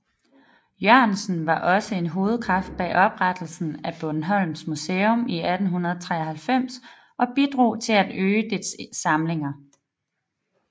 Jørgensen var også en hovedkraft bag oprettelsen af Bornholms Museum i 1893 og bidrog til at øge dets samlinger